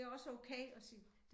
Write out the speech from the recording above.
Det også okay at sige